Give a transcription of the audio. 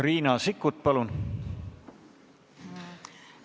Riina Sikkut, palun!